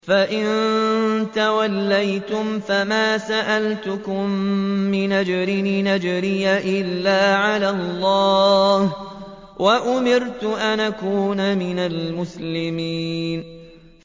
فَإِن تَوَلَّيْتُمْ فَمَا سَأَلْتُكُم مِّنْ أَجْرٍ ۖ إِنْ أَجْرِيَ إِلَّا عَلَى اللَّهِ ۖ وَأُمِرْتُ أَنْ أَكُونَ مِنَ الْمُسْلِمِينَ